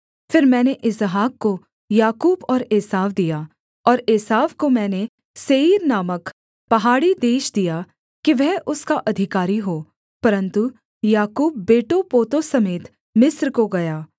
फिर मैंने इसहाक को याकूब और एसाव दिया और एसाव को मैंने सेईर नामक पहाड़ी देश दिया कि वह उसका अधिकारी हो परन्तु याकूब बेटोंपोतों समेत मिस्र को गया